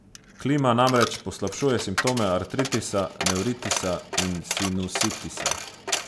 Klima namreč poslabšuje simptome artritisa, nevritisa in sinusitisa.